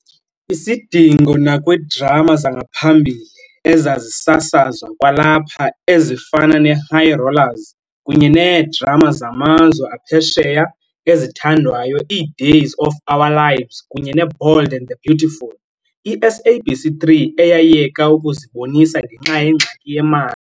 Isidingo, nakwiidrama zangaphambili ezazisasazwa kwalapha ezifana neHigh Rollers, kunye needrama zamazwe aphesheya ezithandwayo iDays of Our Lives kunye neBold and the Beautiful, iSABC3 eyayeka ukuzibonisa ngenxa yengxaki yemali.